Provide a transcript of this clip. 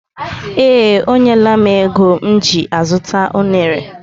Ee, o nyela m ego m ji azuta unere.